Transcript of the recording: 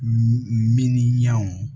Miniyanw